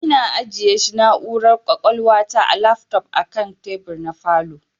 Ina ajiyeshi na'ura kwakwalwa ta lafto akan tebur na falow